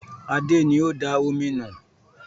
Adé ni ó da omi nù